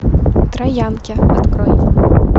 троянки открой